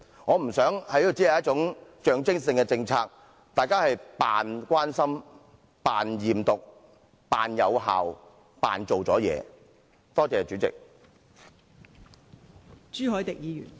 我不想這項政策只具象徵性，讓大家繼續假扮關心、假扮驗毒、假扮有成績、假扮已經盡了力。